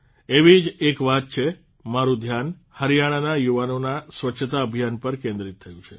આવી જ એક વાત માટે મારૂં ધ્યાન હરિયાણાના યુવાનોના સ્વચ્છતા અભિયાન પર કેન્દ્રિત થયું છે